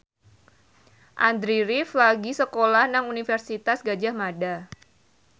Andy rif lagi sekolah nang Universitas Gadjah Mada